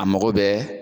A mago bɛɛ